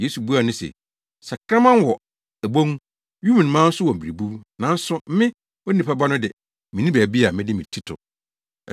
Yesu buaa no se, “Sakraman wɔ wɔn abon, wim nnomaa nso wɔ mmerebuw, nanso me, Onipa Ba no de, minni baabi a mede me ti to!”